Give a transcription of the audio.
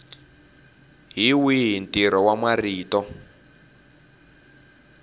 hi wihi ntirho wa marito